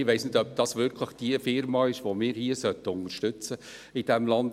Ich weiss nicht, ob es wirklich Firma ist, die wir hier in diesem Land unterstützen sollten.